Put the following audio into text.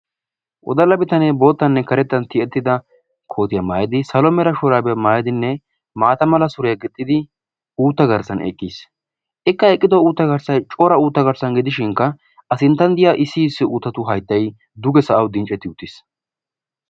Woddala bittanne boottanne karettan tiyettidda koottiya maayidi salo mera shuraabiyaa maayidinne maatta malla suriyaa gixiddi uutta garssan eqqis ikka eqqiddo uutta garssay cora uutta garssani gidishshinkka a sinttan diyaa issi issi uutta hayttay dugge sa'awu dincetti uttis.